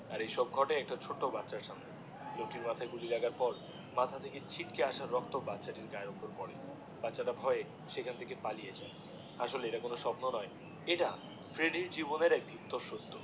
আর এসব ঘটে একটা ছোট্ট বাচ্চার সামনে লোকটির মাথায় গুলির লাগার পর মাথা থেকে ছিটকে আসা রক্ত বাচ্চা তীর গায়ে এসে পরে বাচ্চা তা ভয়ে সেখান থেকে পালিয়ে যায় আসলে এটা কোনো স্বপ্ন নয় এটা ফ্রেড্ডির জীবনের একটি সত্য